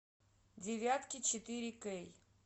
девятки четыре кей